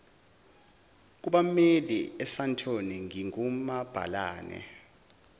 kubammeli esandton ngingumabhalane